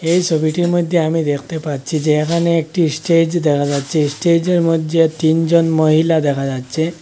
এই ছবিটির মইধ্যে আমি দেখতে পাচ্ছি যে এখানে একটি স্টেজ দেখা যাচ্ছে স্টেজের মধ্যে তিনজন মহিলা দেখা যাচ্ছে।